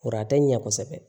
Kɔrɔ a tɛ ɲɛ kosɛbɛ